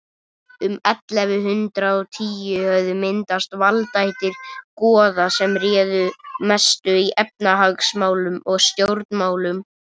um ellefu hundrað og tíu höfðu myndast valdaættir goða sem réðu mestu í efnahagsmálum og stjórnmálum